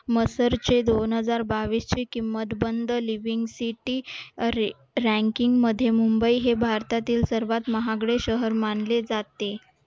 मसरचे दोन हजार बावीस ची किंमत the living city ranking मध्ये मुंबई हे भारतातील सर्वात महागडे शहर मानले जाते